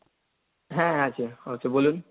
হ্যাঁ আছে, আচ্ছা বলুন?